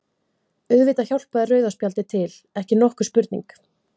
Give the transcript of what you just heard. Auðvitað hjálpaði rauða spjaldið til, ekki nokkur spurning.